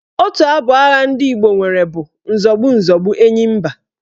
Otu abụ agha Igbo nwere bụ "Nzọgbu nzọgbu enyi mba"